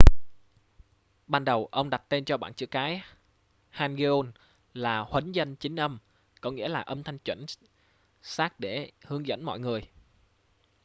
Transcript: ban đầu ông đặt tên cho bảng chữ cái hangeul là huấn dân chính âm có nghĩa là âm thanh chuẩn xác để hướng dẫn mọi người